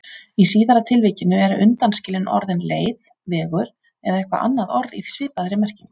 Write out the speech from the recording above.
Í síðara tilvikinu eru undanskilin orðin leið, vegur eða eitthvert annað orð í svipaðri merkingu.